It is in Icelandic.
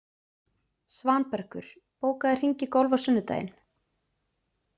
Svanbergur, bókaðu hring í golf á sunnudaginn.